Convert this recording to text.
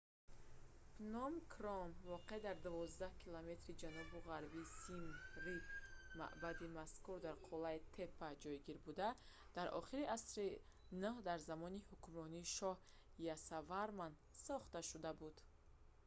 пном кром воқеъ дар 12-километри ҷанубу ғарби сим рип маъбади мазкур дар қуллаи теппа ҷойгир буда дар охири асри 9 дар замони ҳукмронии шоҳ ясоварман сохта шуда буд